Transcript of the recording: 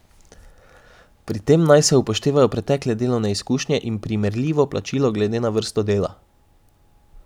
Pri tem naj se upoštevajo pretekle delovne izkušnje in primerljivo plačilo glede na vrsto dela.